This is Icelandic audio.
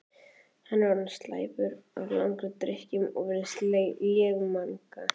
Hann er orðinn slæptur af langri drykkju og virðist lémagna.